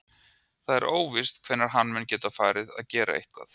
Það er óvíst hvenær hann mun geta farið að gera eitthvað.